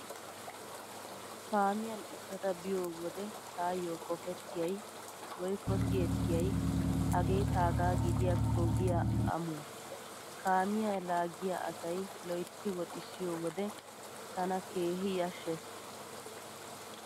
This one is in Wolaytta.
Kaamiyan uttada biyo wode taayyo qopettiyay woykko siyettiyay 'hagee taagaa gidiyaakko giya amuwaa'. Kaamiyaa laaggiyaa asay loytti woxissiyo wode tana keehi yashshees.